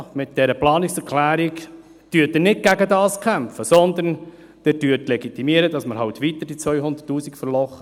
Ja, mit dieser Planungserklärung kämpfen Sie nicht gegen dies, sondern Sie legitimieren, dass wir halt weiterhin die 200 000 Franken verlochen.